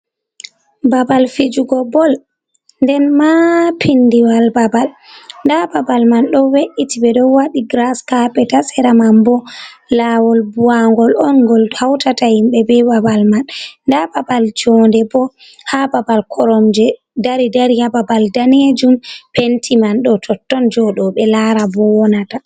Babal fijugo bol nden ma pindiwal babal, nda babal man ɗo we’iti, ɓe ɗo waɗi giras kapet ha sera man bo lawol buwangol on gol hautata himɓe be babal man, nda babal jonde bo ha babal koromje dari dari ha babal danejum penti man ɗo totton jooɗo ɓe laara bo wonata.